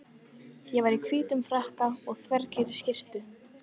Ég var í hvítum frakka og þveginni skyrtu.